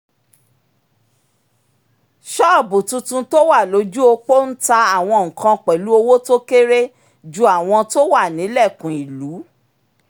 ṣọ́ọ̀bù tuntun tó wà lójú opó ń ta àwọn nǹkan pẹ̀lú owó tó kéré ju àwọn tó wà nílẹ̀kùn ìlú